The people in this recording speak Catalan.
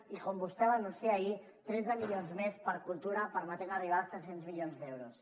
i com vostè va anunciar ahir tretze milions més per a cultura que permeten arribar als tres cents milions d’euros